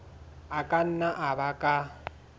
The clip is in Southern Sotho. a ka nna a baka